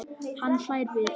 Hann hlær við.